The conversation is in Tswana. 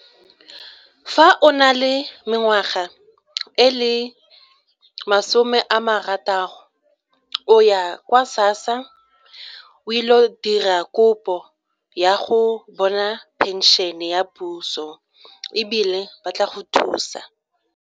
Fa o na le mengwaga e le masome a marataro o ya kwa SASSA o ile go dira kopo ya go bona phenšene ya puso ebile ba tla go thusa.